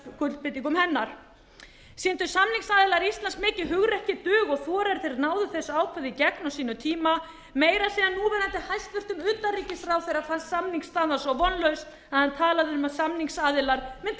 skuldbindingum hennar sýndu samningsaðilar íslands mikið hugrekki dug og þor þegar þeir náðu þessu ákvæði í gegn á sínum tíma meira að segja núverandi hæstvirtum utanríkisráðherra fannst samningsstaðan svo vonlaus að hann talaði um að samningsaðilar mundu plægja